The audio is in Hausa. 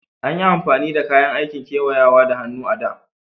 Anyi amfani da kayan aikin kewayawa da hannu a da.